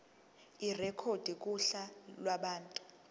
irekhodwe kuhla lwabantu